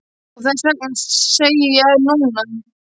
Og þess vegna segi ég núna.